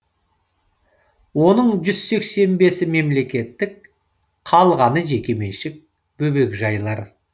оның жүз сексен бесі мемлекеттік қалғаны жекеменшік бөбекжайлар